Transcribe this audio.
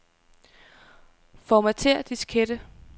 Formatér diskette.